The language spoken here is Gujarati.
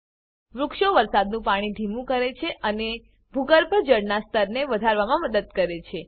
વૃક્ષો વરસાદનું પાણી ધીમું કરે છે અને ભૂગર્ભજળના સ્તરને વધારવામાં મદદ કરે છે